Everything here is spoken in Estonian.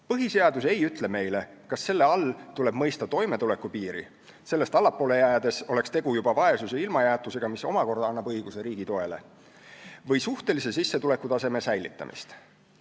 Põhiseadus ei ütle meile, kas selle all tuleb mõista toimetulekupiiri – sellest allapoole jäädes oleks tegu juba vaesuse ja ilmajäetusega, mis omakorda annab õiguse riigi toele – või suhtelise sissetulekutaseme säilitamist.